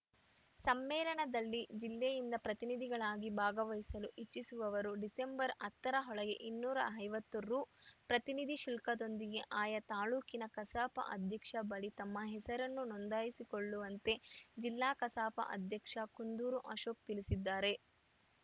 ಸಮ್ಮೇಳನದಲ್ಲಿ ಜಿಲ್ಲೆಯಿಂದ ಪ್ರತಿನಿಧಿಗಳಾಗಿ ಭಾಗವಹಿಸಲು ಇಚ್ಚಿಸುವವರು ಡಿಸೆಂಬರ್ ಹತ್ತ ರ ಒಳಗೆ ಇನ್ನೂರ ಐವತ್ತು ರು ಪ್ರತಿನಿಧಿ ಶುಲ್ಕದೊಂದಿಗೆ ಆಯಾ ತಾಲೂಕಿನ ಕಸಾಪ ಅಧ್ಯಕ್ಷರ ಬಳಿ ತಮ್ಮ ಹೆಸರನ್ನು ನೋಂದಾಯಿಸಿಕೊಳ್ಳುವಂತೆ ಜಿಲ್ಲಾ ಕಸಾಪ ಅಧ್ಯಕ್ಷ ಕುಂದೂರು ಅಶೋಕ್‌ ತಿಳಿಸಿದ್ದಾರೆ